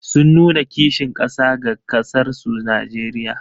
Sun nuna kishin ƙasa ga ƙasarsu Najeriya.